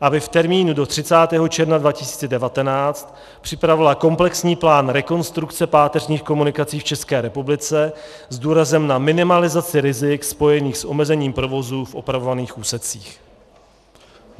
aby v termínu do 30. června 2019 připravila komplexní plán rekonstrukce páteřních komunikací v České republice s důrazem na minimalizaci rizik spojených s omezením provozu v opravovaných úsecích.